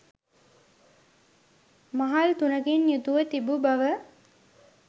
මහල් තුනකින් යුතුව තිබූ බව